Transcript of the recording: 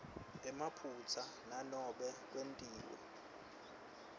emaphutsa nanobe kwetiwe